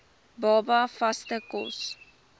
baba vaste kos